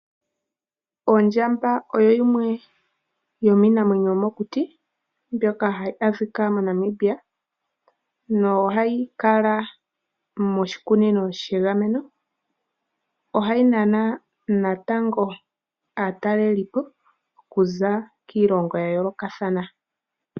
Ondyamba oyo yimwe yominamwenyo yomokuti mbyoka hayi adhika moNamibia no hayi kala moshikunino shegameno ohayi nana natango aatalelipo okuza kiilongo ya yoolokathana.